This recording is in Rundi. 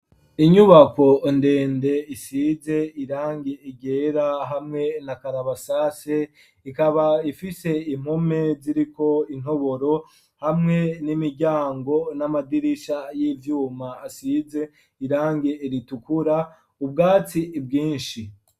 Inyubako ndende isize irangi ryera hamwe na karabasase, ikaba ifise impome ziriko intoboro hamwe n'imiryango ,n'amadirisha y'ivyuma asize irangi ritukura, ubwatsi bwinshi.